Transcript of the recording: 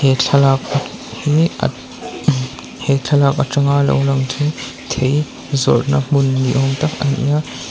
he thlalak hi apmm he thlalak atanga lo lang thei thei zawrhna hmun ni awm tak a ni a.